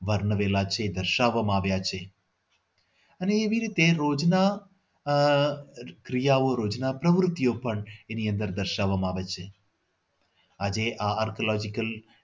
વર્ણવેલા છે દર્શાવવામાં આવ્યા છે અને એવી રીતે રોજના આહ ક્રિયાઓ રોજના રોજના પણ એની અંદર દર્શાવવામાં આવે છે આજે આ artology